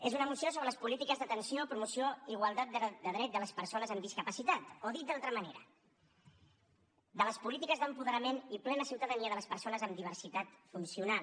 és una moció sobre les polítiques d’atenció promoció igualtat de drets de les persones amb discapacitat o dit d’altra manera de les polítiques d’apoderament i plena ciutadania de les persones amb diversitat funcional